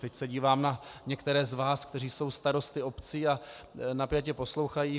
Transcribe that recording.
Teď se dívám na některé z vás, kteří jsou starosty obcí a napjatě poslouchají.